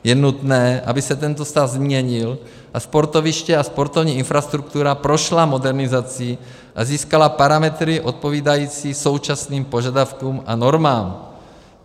Je nutné, aby se tento stav změnil a sportoviště a sportovní infrastruktura prošly modernizací a získaly parametry odpovídající současným požadavkům a normám.